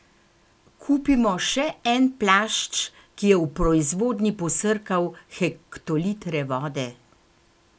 Kupimo še en plašč, ki je v proizvodnji posrkal hektolitre vode?